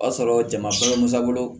O y'a sɔrɔ jama fɛn musa bolo